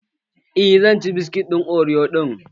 Eh zan ci biskitin oriyo ɗin.